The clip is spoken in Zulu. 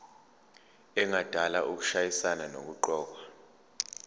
engadala ukushayisana nokuqokwa